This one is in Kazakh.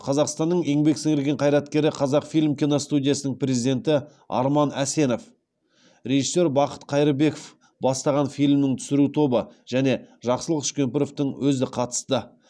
қазақстанның еңбек сіңірген қайраткері қазақфильм киностудиясының президенті арман әсенов режиссер бақыт қайырбеков бастаған фильмнің түсіру тобы және жақсылық үшкемпіровтің өзі қатысты